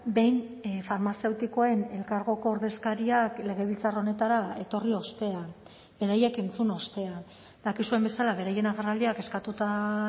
behin farmazeutikoen elkargoko ordezkariak legebiltzar honetara etorri ostean beraiek entzun ostean dakizuen bezala beraien agerraldiak eskatuta